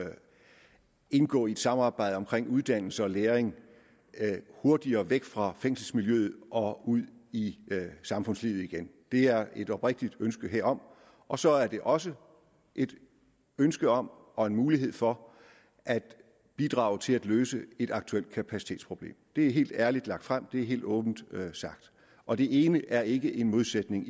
indgå et samarbejde omkring uddannelse og læring hurtigere væk fra fængselsmiljøet og ud i samfundslivet igen det er et oprigtigt ønske herom og så er det også et ønske om og en mulighed for at bidrage til at løse et aktuelt kapacitetsproblem det er helt ærligt lagt frem det er helt åbent sagt og det ene er ikke en modsætning